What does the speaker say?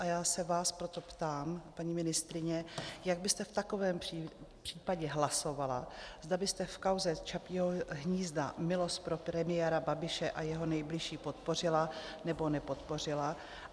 A já se vás proto ptám, paní ministryně, jak byste v takovém případě hlasovala, zda byste v kauze Čapího hnízda milost pro premiéra Babiše a jeho nejbližší podpořila, nebo nepodpořila.